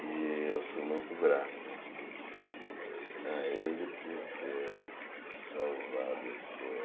E eu sou muito grato a ele por ter salvado esse poema.